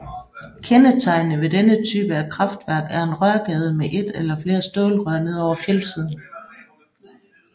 Kendetegnende ved denne type af kraftværk er en rørgade med et eller flere stålrør ned over fjeldsiden